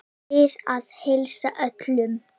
Ég bið að heilsa öllum.